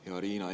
Hea Riina!